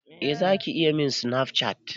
Eh Zaki iya min Snapchat.